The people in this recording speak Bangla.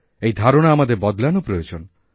এই ধারণা আমাদের বদলানো প্রয়োজন